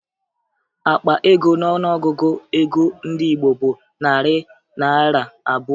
Akpa ego n'ọnụọgụgụ ego ndị Igbo bụ narị naịra abụọ